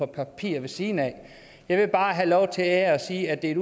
papirer ved siden af jeg vil bare have lov til her at sige at det er et